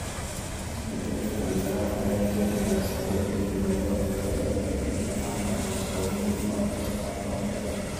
Isbeddelka cimilada ayaa keenaya isbeddel ku yimaada waqtiga iyo qaybinta manka, taas oo muhiim u ah wax soo saarka cuntada.